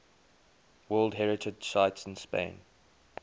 world heritage sites in spain